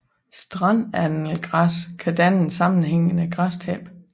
Strandannelgræs kan danne et sammenhængende græstæppe